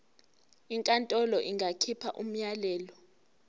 inkantolo ingakhipha umyalelo